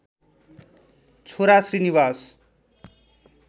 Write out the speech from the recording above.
छोरा श्री निवास